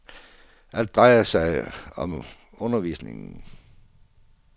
Alt drejer sig nu om undervisning.